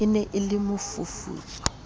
ne e le mofufutso o